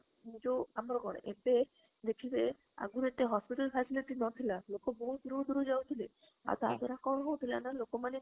ମୁଁ ଯୋଉ ଆମର କଣ ଏତେ ଦେଖିବେ ଆଗରୁ ଏତେ hospital facilities ନଥିଲା ଲୋକ ବହୁତ ଦୂରରୁ ଦୂରରୁ ଯାଉଥିଲେ ଆଉ ତା ଦ୍ବାରା କଣ ହାଉଥିଲା ନା ଲୋକ ମାନେ